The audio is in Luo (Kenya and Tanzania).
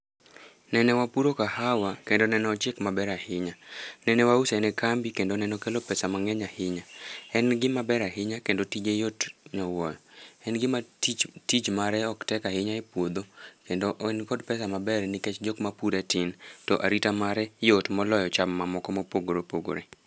Nene wapuro kahawa, kendo nene ochiek maber ahinya, nene wause ne kambi kendo nene okelo pesa mang'eny ahinya, en gima ber ahinya kendo tije yot nyowuoyo, en gima tich tich mare ok tek ahinya e puodho kendo en kod pesa maber nikech jokmapure tin, to arita mare yot moloyo cham mamoko mopogore opogore.